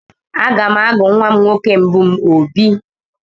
Aga m agụ nwa nwoke mbụ m Obi.